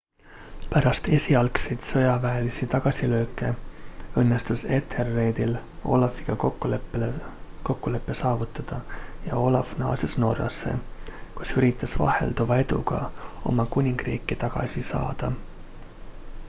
pärast esialgseid sõjaväelisi tagasilööke õnnestus ethelredil olafiga kokkulepe saavutada ja olaf naases norrasse kus üritas vahelduva eduga oma kuningriiki tagasi saada